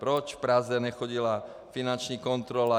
Proč v Praze nechodila finanční kontrola?